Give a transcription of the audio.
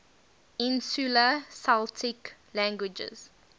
insular celtic languages